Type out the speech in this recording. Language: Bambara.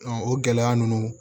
o gɛlɛya ninnu